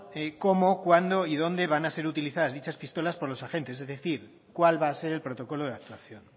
cómo cuándo y dónde van a ser utilizadas dichas pistolas por los agentes es decir cuál va a ser el protocolo de actuación